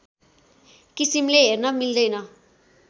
किसिमले हेर्न मिल्दैन